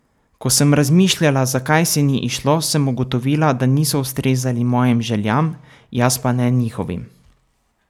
Ko sem razmišljala, zakaj se ni izšlo, sem ugotovila, da niso ustrezali mojim željam, jaz pa ne njihovim.